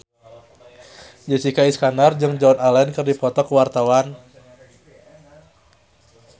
Jessica Iskandar jeung Joan Allen keur dipoto ku wartawan